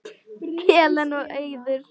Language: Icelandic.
Helen og Auður.